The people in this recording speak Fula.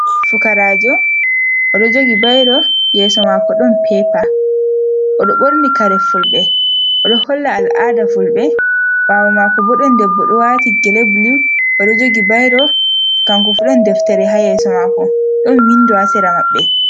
Fukarajo, oɗo jogi bairo, yeso mako ɗon pepa. oɗo ɓorni kare fulɓe, oɗo holla al'ada fulɓe, ɓawo mako bo ɗon debbo ɗo wati gele bulu, oɗo jogi bairo kankofu ɗon deftere ha yeso mako, ɗon windo hasera maɓɓe.